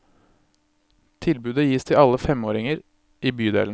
Tilbudet gis til alle femåringer i bydelen.